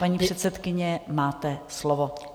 Paní předsedkyně, máte slovo.